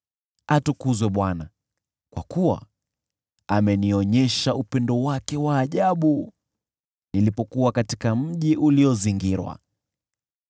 Atukuzwe Bwana , kwa kuwa amenionyesha upendo wake wa ajabu nilipokuwa katika mji uliozingirwa.